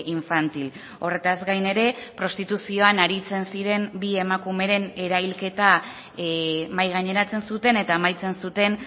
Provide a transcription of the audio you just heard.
infantil horretaz gain ere prostituzioan aritzen ziren bi emakumeren erailketa mahai gaineratzen zuten eta amaitzen zuten